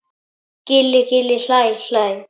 Gilli gilli hlæ hlæ.